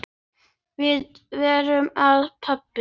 Hvað er það, pabbi?